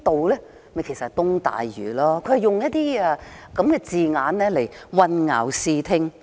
其實就是東大嶼，它便是用這些字眼混淆視聽。